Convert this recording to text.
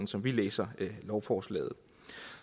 som vi læser lovforslaget